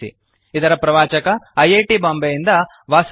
ಇದರ ಪ್ರವಾಚಕ I I T Bombay ಯಿಂದ ವಾಸುದೇವ